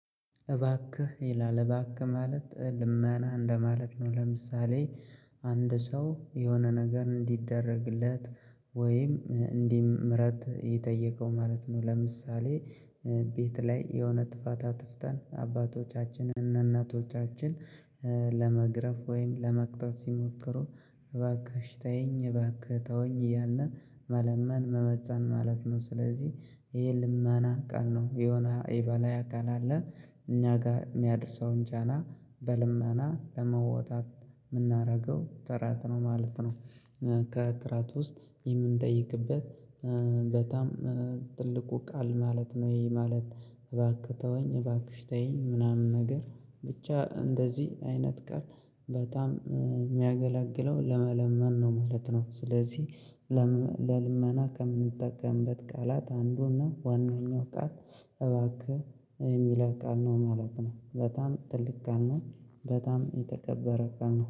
እባክህ ይላል እባክህ ማለት ልመና እንደማለት ነው ለምሳሌ አንድ ሰው የሆነ ነገር እንዲደረግለት ወይም እንዲ ምህረት የጠየቀው ማለት ነው። ለምሳሌ ቤት ላይ የሆነ ጥፋታ አጥፍተን አባቶቻችን እና እናቶቻችን ለመግረፍ ወይም ለመቅጣት ሲሞክሩ እባክሽ ታይኝ እባክህ ተወኝ እያልን መለመን መመጸን ማለት ነው። ስለዚህ ይሄ ልማና ቃል ነው የሆነ የላይ አካል አለ እኛ ጋር የሚያደርሰውን ጫና በልመና ለመውጣት የምናደርገው ጥራት ነው ማለት ነው። ከትራት ውስጥ የምንጠይቅበት በጣም ትልቁ ቃል ማለት ነው ይሄ ማለት እባክህ ተወኝ እባክሽ ተይኝ ምናምን ነገር ብቻ እንደዚህ አይነት ቃል በጣም የሚያገላግለው ለመለመን ነው ማለት ነው። ስለዚህ ለልመና ከምንጠቀምበት ቃላት አንዱና ዋናኛው ቃል እባክህ የሚለው ቃል ነው ማለት ነው። በጣም ትልቅ ቃል ነው በጣም የተከበረ ቃል ነው